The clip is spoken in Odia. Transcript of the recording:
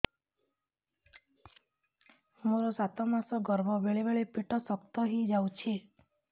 ମୋର ସାତ ମାସ ଗର୍ଭ ବେଳେ ବେଳେ ପେଟ ଶକ୍ତ ହେଇଯାଉଛି